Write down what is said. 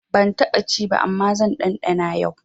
Ban taɓa ci ba amma zan ɗanɗana yau.